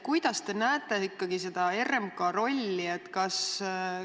Millisena te näete RMK rolli?